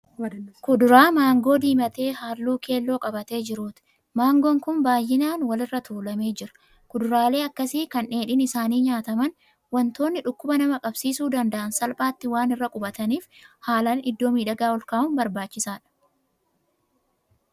Kuduraa maangoo diimatee halluu keelloo qabatee jiruuti. Maangoon kun baayinaan wal irra tuulamee jira. Kuduraalee akkasii kan dheedhiin isaanii nyaataman, wantoonni dhukkuba nama qabasiisuu danda'aan salphaatti waan irra quphataniif haalaan iddoo miidhagaa ol kaa'uun barbaachisaadha.